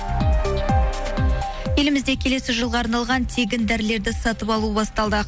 елімізде келесі жылға арналған тегін дәрілерді сатып алу басталды